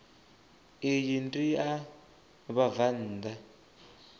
iyi ndi ya vhabvann ḓa